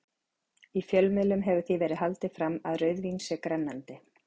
Í fjölmiðlum hefur því verið haldið fram að rauðvín sé grennandi.